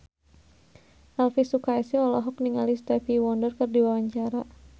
Elvy Sukaesih olohok ningali Stevie Wonder keur diwawancara